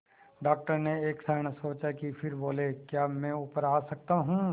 doctor ने एक क्षण सोचा फिर बोले क्या मैं ऊपर आ सकता हूँ